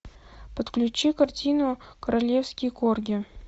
подключи картину королевский корги